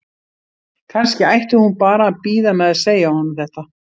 Kannski ætti hún bara að bíða með að segja honum þetta?